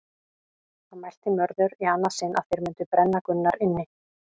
Þá mælti Mörður í annað sinn að þeir mundu brenna Gunnar inni.